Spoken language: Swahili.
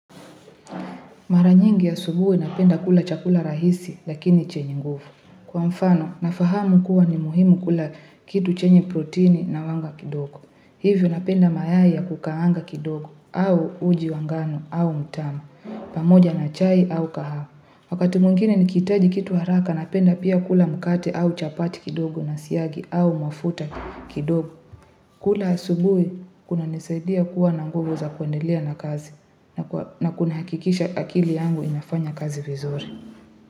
Mara nyingi asubuhi napenda kula chakula rahisi lakini chenye nguvu. Kwa mfano nafahamu kuwa ni muhimu kula kitu chenye proteini na wanga kidogo. Hivyo napenda mayai ya kukaanga kidogo au uji wa ngano au mtama pamoja na chai au kahawa. Wakati mwingine nikihitaji kitu haraka napenda pia kula mkate au chapati kidogo na siyagi au mafuta kidogo. Kula asubuhi kuna nisaidia kuwa na nguvu za kuendelea na kazi na kuna hakikisha akili yangu inafanya kazi vizuri.